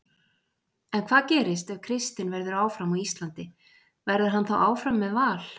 En hvað gerist ef Kristinn verður áfram á Íslandi, verður hann þá áfram með Val?